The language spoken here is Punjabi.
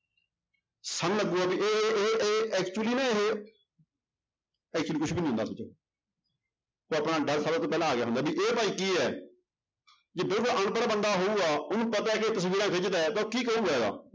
ਸਾਨੂੰ ਲੱਗੇਗਾ ਵੀ ਇਹ ਉਹ ਇਹ actually ਨਾ ਇਹ actually ਕੁਛ ਵੀ ਨੀ ਹੁੰਦਾ ਤਾਂ ਆਪਣਾ ਡਰ ਸਭ ਤੋਂ ਪਹਿਲਾਂ ਆ ਗਿਆ ਹੁੰਦਾ ਵੀ ਇਹ ਭਾਈ ਕੀ ਹੈ ਅਨਪੜ੍ਹ ਬੰਦਾ ਹੋਊਗਾ ਉਹਨੂੰ ਪਤਾ ਕਿ ਇਹ ਤਸਵੀਰਾਂ ਖਿਚਦਾ ਹੈ ਤਾਂ ਉਹ ਕੀ ਕਹੇਗਾ ਇਹਦਾ।